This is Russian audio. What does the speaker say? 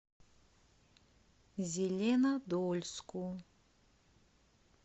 зеленодольску